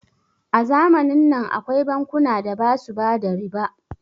A zamanin nan akwai bankuna da basu bada riba